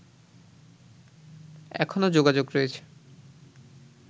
এখনও যোগাযোগ রয়েছে